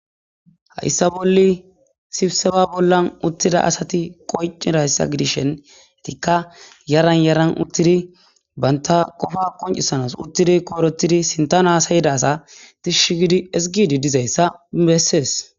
Hayissa bolli sibseba bollan uttida asati qoncirayssa gidishentikka yaran yaran uttidi banta qofa qoncisanas uttidi koorotidi sintana asayida asa dishshi gidi isgidi dizayssa bessees